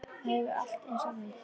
Það hefur allt eins og við.